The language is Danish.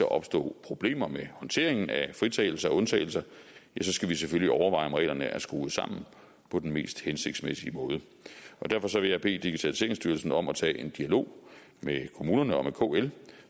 opstå problemer med håndteringen af fritagelser og undtagelser skal vi selvfølgelig overveje om reglerne er skruet sammen på den mest hensigtsmæssige måde derfor vil jeg bede digitaliseringsstyrelsen om at tage en dialog med kommunerne og med kl